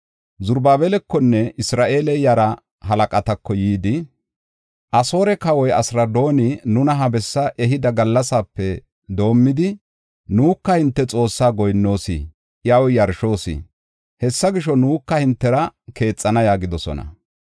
Zarubaabelakonne Isra7eele yara halaqatako yidi, “Asoore kawoy Asiradooni nuna ha bessaa ehida gallasape doomidi, nuka hinte Xoossa goyinnoos, iyaw yarshoos. Hessa gisho, nuka hintera keexana” yaagidosona.